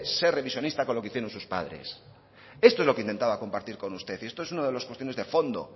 ser revisionista con lo que hicieron sus padres esto es lo que intentaba compartir con usted y esto es una de las funciones de fondo